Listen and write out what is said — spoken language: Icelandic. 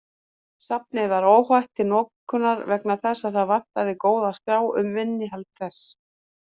Safnið var óhægt til notkunar vegna þess að það vantaði góða skrá um innihald þess.